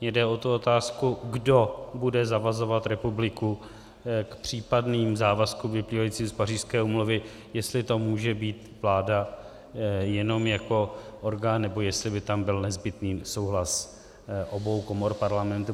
Mě jde o tu otázku, kdo bude zavazovat republiku k případným závazkům vyplývajícím z Pařížské úmluvy, jestli to může být vláda jenom jako orgán, nebo jestli by tam byl nezbytný souhlas obou komor Parlamentu.